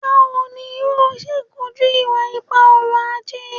Bawo ni yoo ṣe koju iwa-ipa ọrọ-aje?